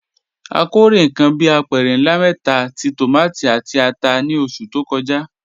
A kórè nǹkan bí apẹ̀rẹ̀ ńlá mẹ́ta ti tòmátì àti ata ní oṣù tó kọjá.